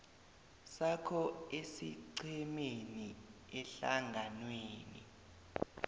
sakho esiqhemeni ehlanganweni